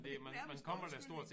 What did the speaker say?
Det er nærmest en undskyldning